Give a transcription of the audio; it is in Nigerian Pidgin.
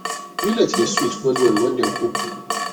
millet dey sweet wellwell when dem cook